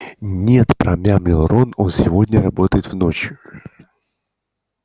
нет промямлил рон он сегодня работает в ночь